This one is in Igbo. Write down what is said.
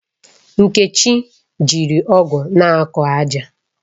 Nkechi jiri ọ̀gu na-akọ ájà